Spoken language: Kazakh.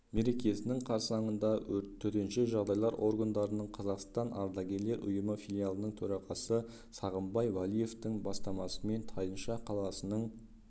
мерекесінің қарсаңында төтенше жағдайлар органдарының қазақстандық ардагерлер ұйымы филиалының төрағасы сағынбай уәлиевтың бастамасымен тайынша қаласының